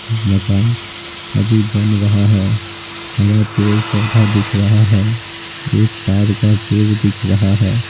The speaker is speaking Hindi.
मकान अभी बन रहा है हरा पेड़-पौधा दिख रहा है एक ताड़ का पेड़ दिख रहा है।